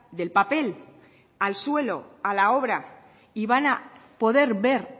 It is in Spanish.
del papel al suelo a la obra y van a poder ver